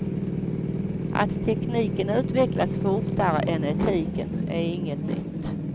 Att tekniken utvecklas fortare än etiken är inget nytt.